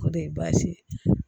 O de ye baasi ye